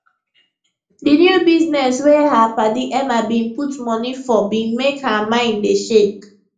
di new business wey her padi emma bin put money forbin make her mind dey shake